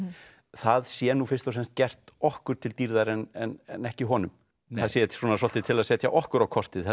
það sé nú fyrst og fremst gert okkur til dýrðar en ekki honum það sé svolítið til að setja okkur á kortið